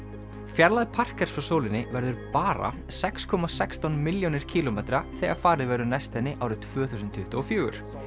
fjarlægð frá sólinni verður bara sex komma sextán milljónir kílómetra þegar farið verður næst henni árið tvö þúsund tuttugu og fjögur